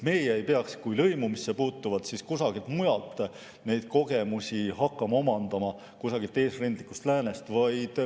Meie ei peaks lõimumisse puutuvalt kusagilt mujalt kogemusi hakkama omandama, kusagilt eesrindlikust läänest.